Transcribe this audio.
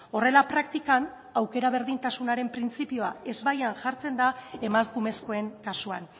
horrela praktikan aukera berdintasunaren printzipioa ezbaian jartzen da emakumezkoen kasuan